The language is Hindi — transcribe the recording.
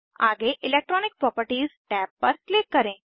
आगे इलेक्ट्रॉनिक प्रॉपर्टीज टैब पर क्लिक करें